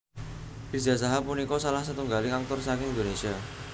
Riza Shahab punika salah setunggaling aktor saking Indonésia